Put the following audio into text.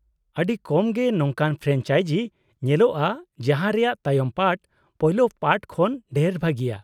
ᱟᱹᱰᱤ ᱠᱚᱢ ᱜᱮ ᱱᱚᱝᱠᱟᱱ ᱯᱷᱨᱮᱱᱪᱟᱭᱡᱤ ᱧᱮᱞᱚᱜᱼᱟ ᱡᱟᱦᱟᱸ ᱨᱮᱭᱟᱜ ᱛᱟᱭᱚᱢ ᱯᱟᱨᱴ ᱯᱳᱭᱞᱳ ᱯᱟᱨᱴ ᱠᱷᱚᱱ ᱰᱷᱮᱨ ᱵᱷᱟᱹᱜᱤᱭᱟ ᱾